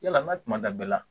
Yala n ka kuma da bɛɛ la